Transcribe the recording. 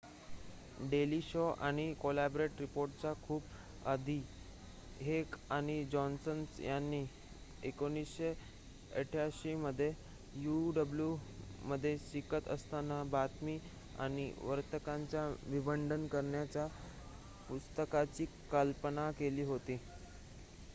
daily show आणि Colbert रिपोर्टच्या खूप आधी हेक आणि जॉन्ससन यांनी ते १९८८ मध्ये uw मध्ये शिकत असताना बातमी आणि वार्तांकनाचे विडंबन करणाऱ्या पुस्तकाची कल्पना केली होती